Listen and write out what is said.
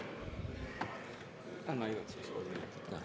Tõnis Lukas, palun!